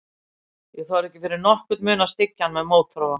Ég þorði ekki fyrir nokkurn mun að styggja hann með mótþróa.